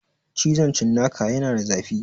Cizon cinnaka yana da zafi